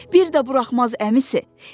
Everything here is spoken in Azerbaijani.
Bir də buraxmaz əmisi.